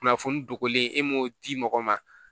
Kunnafoni dogolen e m'o di mɔgɔ ma